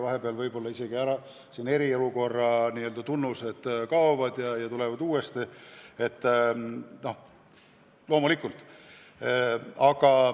Vahepeal võib-olla eriolukorra tunnused kaovad ja tulevad siis uuesti.